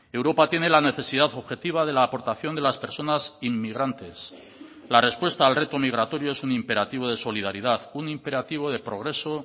europa tiene la necesidad objetiva de la aportación de las personas inmigrantes la respuesta al reto migratorio es un imperativo de solidaridad un imperativo de progreso